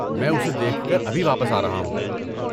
میں اسے دیکھ کر ابھی واپس آ رہا ہوں۔